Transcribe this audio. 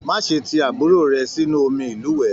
Má ṣe tí àbúrò rẹ̀ sínú omi ilúwẹ!.